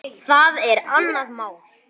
Það er annað mál.